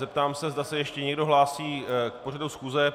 Zeptám se, zda se ještě někdo hlásí k pořadu schůze.